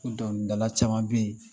Dɔnkili dala caman bɛ yen